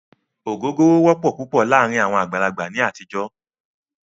Ògógóró wọ́pọ̀ púpọ̀ láàárín àwọn àgbàlagbà ní àtijọ́.